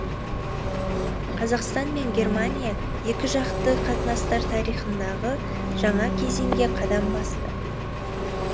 қазақстан мен германия екіжақты қатынастар тарихындағы жаңа кезеңге қадам басты